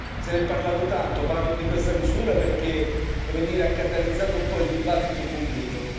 Se n'è parlato tanto, parlo di questa misura perché ha catalizzato un po' il dibattito pubblico.